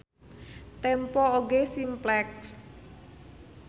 Tempo oge Simplex.